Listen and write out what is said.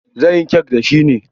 Zan yi kek da shi ne.